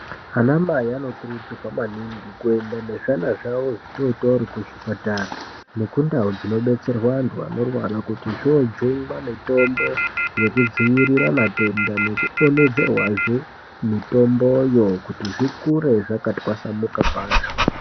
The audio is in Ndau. Ana mai anokurudzirwa maningi kuenda nezvana zvawo zvitotori kuzvipatara nekundau dzinobetserwe antu anorwara kuti zvojungwa mitombo yekudziirira matenda nekudonhedzerwazve mitombo yo kuti zvikure zvakatwasamuka kwazvo